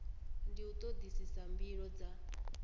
ndi u todisisa mbilo dza